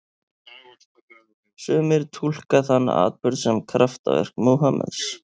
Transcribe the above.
Sumir túlka þann atburð sem kraftaverk Múhameðs.